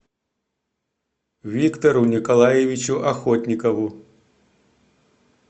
виктору николаевичу охотникову